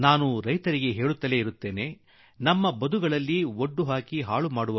ನಮ್ಮ ಜಮೀನುಗಳಿಗೆ ಮುಳ್ಳು ಬೇಲಿ ಹಾಕಿ ನಮ್ಮ ಜಮೀನು ಹಾಳಾಗದಂತೆ ಮಾಡುತ್ತೇವೆ